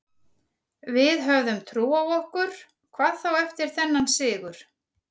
Við höfum trú á okkur, hvað þá eftir þennan sigur.